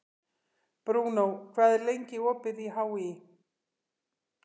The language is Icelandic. Bruno, hvað er lengi opið í HÍ?